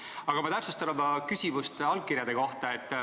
Aga ma täpsustan oma küsimust allkirjade kohta.